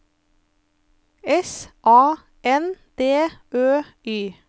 S A N D Ø Y